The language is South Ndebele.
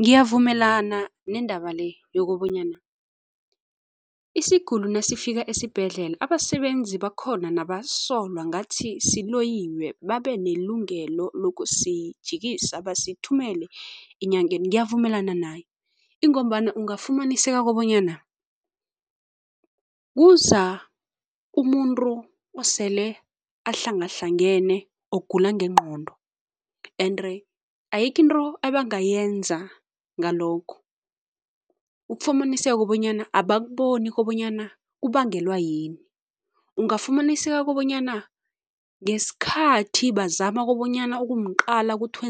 Ngiyavumelana nendaba le yokobanyana isiguli nasifikako esibhedlela, abasebenzi bakhona nabasolwa ngathi siloyiwe babenelungelo lokusijikisa basithumele enyangeni. Ngiyavumelana naye ingombana ungafumaniseko bonyana kuza umuntu osele ahlanganehlangene ogula nengqondo ende ayikho into ebangayenza ngalokhu. Ukufumaniseka bonyana abakuboni kobanyana kubangelwa yini, ungafumananiseka kobonyana ngesikhathi bazama kobonyana ukumqala kuthi